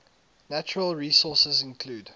natural resources include